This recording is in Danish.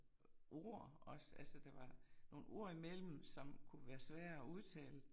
Ord også altså der var nogle ord imellem, som kunne være svære at udtale